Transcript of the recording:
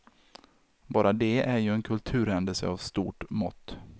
Bara det är ju en kulturhändelse av stort mått.